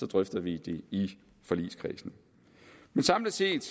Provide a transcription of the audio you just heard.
drøfter vi det i forligskredsen samlet set